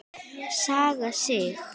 Saga Sig.